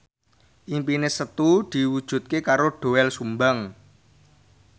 impine Setu diwujudke karo Doel Sumbang